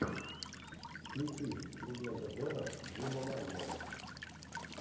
включи легенда зорро джима мальнова